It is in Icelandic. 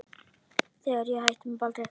Þegar ég hætti með Baldri.